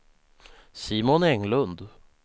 Simon Englund